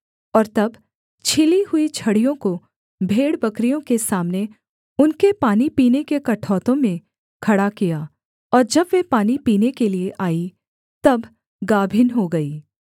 और तब छीली हुई छड़ियों को भेड़बकरियों के सामने उनके पानी पीने के कठौतों में खड़ा किया और जब वे पानी पीने के लिये आई तब गाभिन हो गईं